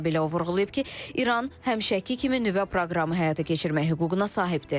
Bununla belə o vurğulayıb ki, İran həmişəki kimi nüvə proqramı həyata keçirmək hüququna sahibdir.